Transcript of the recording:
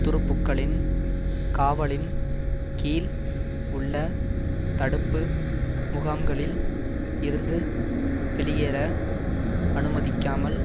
துருப்புக்களின் காவலின் கீழ் உள்ள தடுப்பு முகாம்களில் இருந்து வெளியேற அனுமதிக்காமல்